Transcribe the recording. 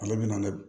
Ale bɛna ne